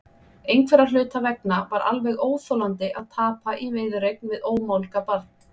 Einhverra hluta vegna var alveg óþolandi að tapa í viðureign við ómálga barn.